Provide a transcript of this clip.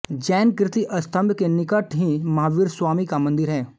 जैन कीर्ति स्तम्भ के निकट ही महावीर स्वामी का मन्दिर है